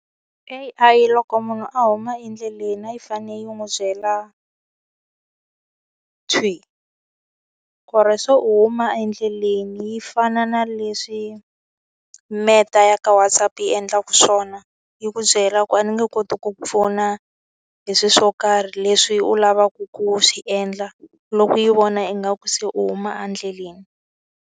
A_I loko munhu a huma endleleni a yi fanele yi n'wi byela thwi ku ri se huma endleleni, yi fana na leswi Meta ya ka WhatsApp yi endlaka swona. Yi ku byela ku a ni nge koti ku pfuna hi swilo swo karhi leswi u lavaka ku swi endla, loko yi vona ingaku se u huma endleleni.